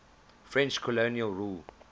french colonial rule